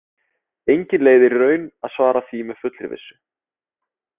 Engin leið er í raun að svara því með fullri vissu.